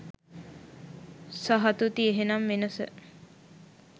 සහතුති එහෙනම් වෙනස?